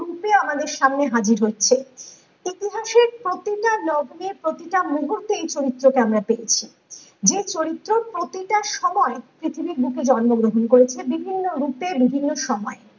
রূপে আমাদের সামনে হাজিরী হচ্ছে ইতিহাসের প্রতিটা লগ্নে প্রতিটা মুহূর্তে এই চরিত্র কে আমরা পেয়েছি যে চরিত্র প্রতিটা সময় পৃথিবীর বুকে জন্ম গ্রহণ করেছে বিভিন্ন রূপে বিভিন্ন সময়